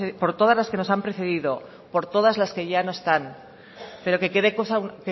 por todas las que nos han precedido por todas las que ya no están pero que quede